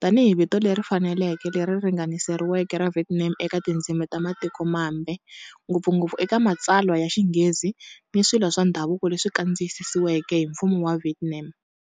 tanihi vito leri faneleke, leri ringaniseriweke ra Vietnam eka tindzimi ta matiko mambe, ngopfungopfu eka matsalwa ya Xinghezi ni swilo swa ndhavuko leswi kandziyisiweke hi Mfumo wa Vietnam.